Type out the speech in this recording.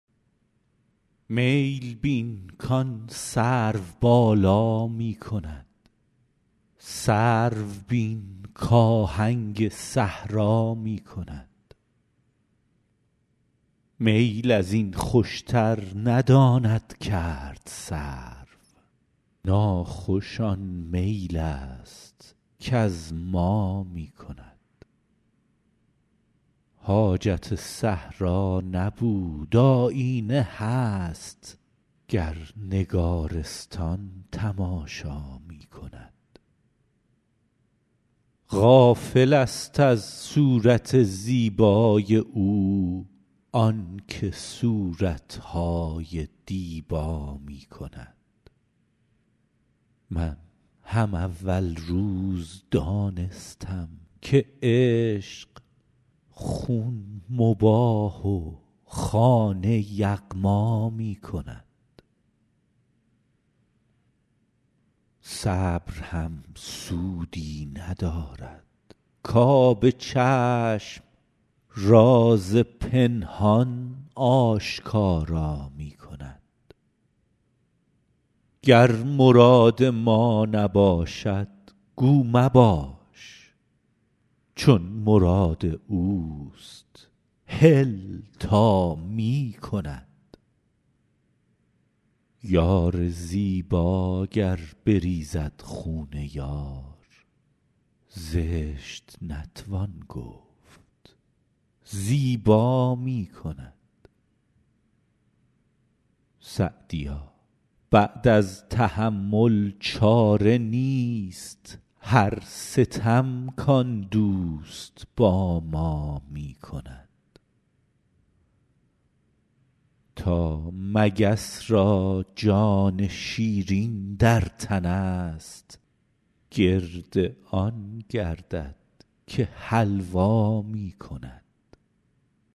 میل بین کآن سروبالا می کند سرو بین کآهنگ صحرا می کند میل از این خوشتر نداند کرد سرو ناخوش آن میل است کز ما می کند حاجت صحرا نبود آیینه هست گر نگارستان تماشا می کند غافلست از صورت زیبای او آن که صورت های دیبا می کند من هم اول روز دانستم که عشق خون مباح و خانه یغما می کند صبر هم سودی ندارد کآب چشم راز پنهان آشکارا می کند گر مراد ما نباشد گو مباش چون مراد اوست هل تا می کند یار زیبا گر بریزد خون یار زشت نتوان گفت زیبا می کند سعدیا بعد از تحمل چاره نیست هر ستم کآن دوست با ما می کند تا مگس را جان شیرین در تنست گرد آن گردد که حلوا می کند